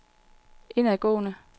indadgående